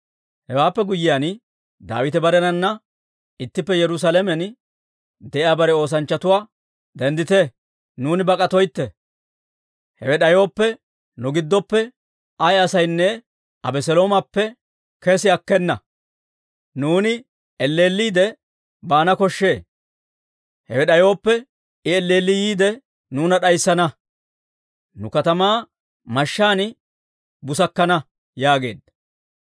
Hewaappe guyyiyaan, Daawite barenana ittippe Yerusaalamen de'iyaa bare oosanchchatuwaa, «Denddite! Nuuni bak'atoytte! Hewe d'ayooppe, nu giddoppe ay asaynne Abeseloomappe kessi akkena. Nuuni elleelliidde baana koshshee; hewe d'ayooppe, I elleelli yiide nuuna d'ayssana; nu katamaa mashshaan busakkana» yaageedda.